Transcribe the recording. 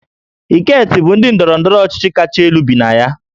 Eket bụ ndị ndọrọ ndọrọ ọchịchị kacha elu bi na ya